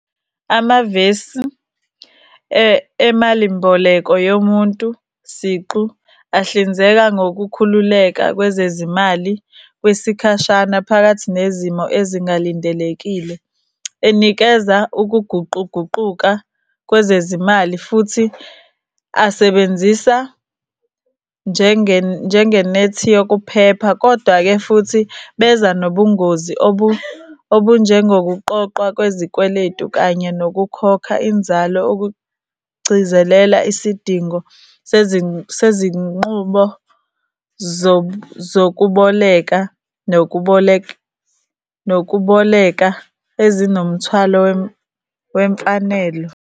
Amavesi emali mboleko yomuntu siqu ahlinzeka ngokukhululeka kwezezimali kwesikhashana phakathi nezimo ezingalindelekile. Enikeza ukuguquguquka kwezezimali, futhi asebenzisa njengenethi yokuphepha kodwa-ke futhi beza nobungozi obunjengokuqoqwa kwezikweletu kanye nokukhokha inzalo okugcizelela isidingo sezinqubo zokuboleka nokuboleka ezinomthwalo wemfanelo.